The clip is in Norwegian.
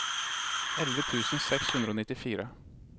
elleve tusen seks hundre og nittifire